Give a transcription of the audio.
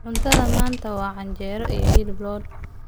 Cuntada maanta waa canjeero iyo hilib lo'aad.